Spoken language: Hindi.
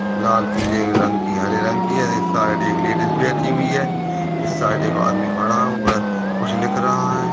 लाल पीले रंग की हरे रंग की है इस साइड एक लेडीस बैठी हुई है इस साइड एक आदमी खड़ा हुआ है कुछ लिख रहा है।